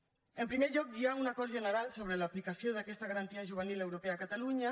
en primer lloc hi ha un acord general sobre l’aplicació d’aquesta garantia juvenil europea a catalunya